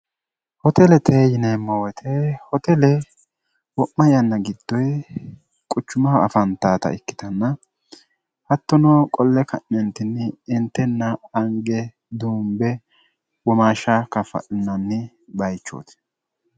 hoteletee yineemmo woyite hotele wo'ma yanna giddoyi quchumaho afantaata ikkitanna hattonoo qolle ka'nyentinni intenna ange duumbe womaashsha kafa'nanni bayichooti